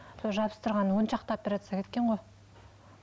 сол жабыстырған он шақты операция кеткен ғой